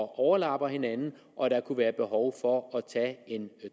overlapper hinanden og at der kunne være behov for at tage en